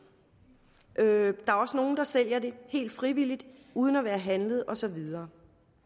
der er også nogle der sælger det helt frivilligt og uden at være handlet og så videre